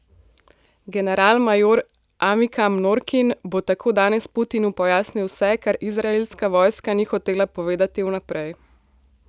Generalmajor Amikam Norkin bo tako danes Putinu pojasnil vse, kar izraelska vojska ni hotela povedati vnaprej.